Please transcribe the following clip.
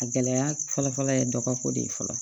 A gɛlɛya fɔlɔ-fɔlɔ ye dɔ de ye fɔlɔ